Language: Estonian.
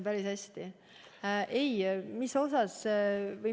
Päris hästi!